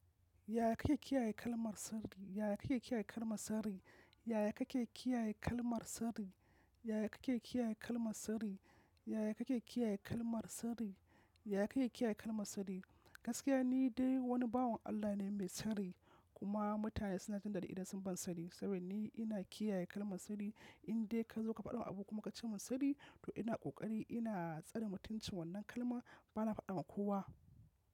Yaya kake kiyaye kalmar sirri? Yaya kake kiyaye kalmar sirri? Yaya kake kiyaye kalmar sirrii? Yaya kake kiyaye kalmar sardi? Yaya kake kiyaye kalmar sardi? Yaya kake kiyaye kalmar sardi? Gaskiya ni dai wani bawon Allah ne mai sirri kuma mutane suna jindaɗi idan sun ban sirri sabida ni ina kiyaye kalmar sirri. In dai ka zo ka faɗa min abu kuma ka ce mun sirri to ina ƙoƙari ina tsare mutum cin wannan kalma bana faɗa ma kowa.